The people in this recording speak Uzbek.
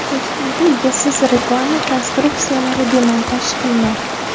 Toshkentda egasiz reklama konstruksiyalari demontaj qilinadi.